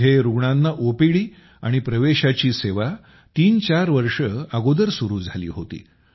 इथं रूग्णांना ओपीडी आणि प्रवेशाची सेवा तीन चार वर्षे अगोदर सुरू झाली होती